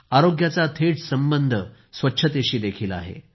आरोग्याचा थेट संबंध स्वच्छतेशी देखील आहे